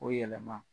O yɛlɛma